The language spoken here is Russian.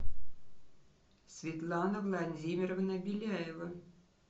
светлана владимировна беляева